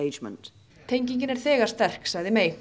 tengingin er þegar sterk sagði